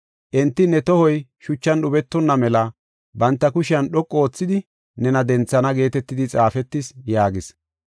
Enti ne tohoy shuchan dhubetonna mela, banta kushiyan dhoqu oothidi nena denthana’ geetetidi xaafetis” yaagis.